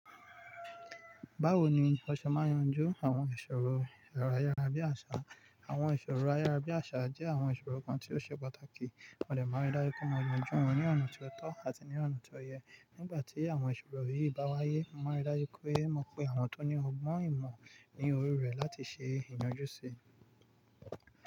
Báwo ni o ṣe máa n yanjú àwọn ìṣòro ero ayárabíàṣá? Àwọn ìṣòro ayárabíàṣá jẹ́ àwọn ìṣòro kan tí ó ṣe pàtàkì, mọ́ dè máa n rí dáju pe mọ yanjú wọn ní ọ̀nà tó tọ́ àti ní ọ̀nà tó yẹ. Nígbà tí àwọn ìṣòro yìí bá wáyé, mo máa n rí dáju pe mọ pé àwọn tó ní ọgbọ́n ìmọ̀ ní òri rẹ̀ láti ṣe ìyanjú sí i.